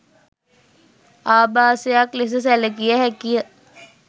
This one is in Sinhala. ආභාසයක් ලෙස සැලකිය හැකිය.